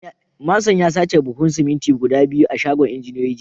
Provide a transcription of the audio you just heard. Manson ya sace buhunan siminti guda biyu a shagon injiniyoyi a jiya